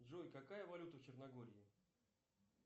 джой какая валюта в черногории